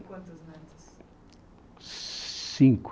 Quantos netos? Cinco